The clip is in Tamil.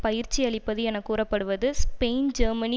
பயிற்சி அளிப்பது என கூறப்படுவது ஸ்பெயின் ஜெர்மனி